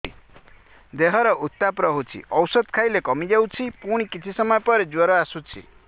ଦେହର ଉତ୍ତାପ ରହୁଛି ଔଷଧ ଖାଇଲେ କମିଯାଉଛି ପୁଣି କିଛି ସମୟ ପରେ ଜ୍ୱର ଆସୁଛି